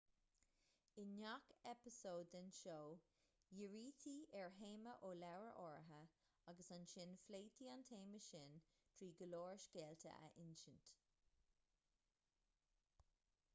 i ngach eipeasóid den seó dhírítí ar théama ó leabhar áirithe agus ansin phléití an téama sin trí go leor scéalta a insint